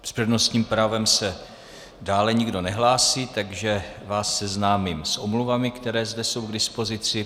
S přednostním právem se dále nikdo nehlásí, takže vás seznámím s omluvami, které jsou zde k dispozici.